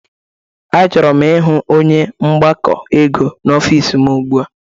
A chọrọ m ịhụ onye mgbakọ ego n'ofisi m ụgbụa!